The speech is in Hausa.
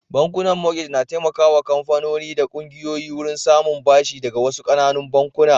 Bankunan mortgage na taimakawa kamfanoni da kungiyoyi wurin samun bashi daga wasu ƙananan bankuna.